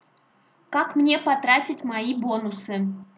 как мне потратить мои бонусы